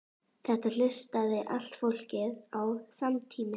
Þetta hlustaði allt fólkið á samtímis.